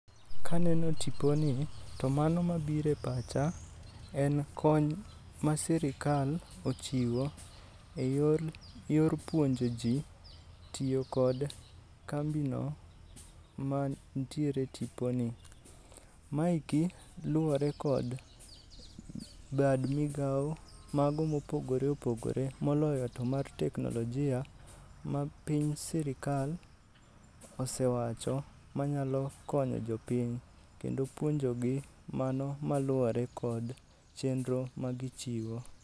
Kaneno tipo ni, to mano mabiro e pacha en kony ma sirikal ochiwo e yor puonjo ji tiyo kod kambino mantiere e tiponi. Maeki luwore kod bad migawo, mago mopogore opogore. Moloyo to mar teknolojia ma piny sirikal osewacho manyalo konyo jopiny kendo puonjogi mano maluwore kod chenro ma gichiwo.